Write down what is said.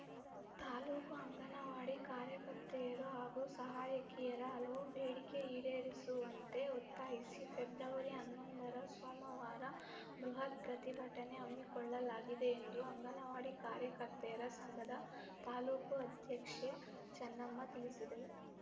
ತಾಲೂಕು ಅಂಗನವಾಡಿ ಕಾರ್ಯಕರ್ತೆಯರು ಮತ್ತು ಸಹಾಯಕಿಯರ ಹಲವು ಬೇಡಿಕೆ ಈಡೇರಿಸುವಂತೆ ಒತ್ತಾಯಿಸಿ ಫೆಬ್ರವರಿ ಹನ್ನೊಂದರ ಸೋಮವಾರ ಬೃಹತ್‌ ಪ್ರತಿಭಟನೆ ಹಮ್ಮಿಕೊಳ್ಳಲಾಗಿದೆ ಎಂದು ಅಂಗನವಾಡಿ ಕಾರ್ಯಕರ್ತೆಯರ ಸಂಘದ ತಾಲೂಕು ಅಧ್ಯಕ್ಷೆ ಚನ್ನಮ್ಮ ತಿಳಿಸಿದರು